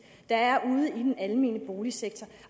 der er i den almene boligsektor